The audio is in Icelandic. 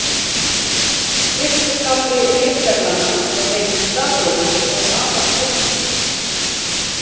Fyrsti kafli ritreglnanna ber heitið Stafrófið og er afar stuttur.